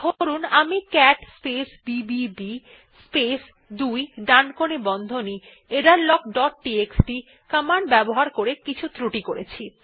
ধরুন আমি cat space BBB space 2 ডানকোণী বন্ধনী এররলগ ডট টিএক্সটি কমান্ড ব্যবহার করে কিছু ক্রুটি করেছি